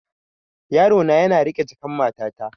Yarona yana riƙe jakan matata.